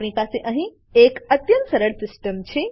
આપણી પાસે અહીં એક અત્યંત સરળ સીસ્ટમ છે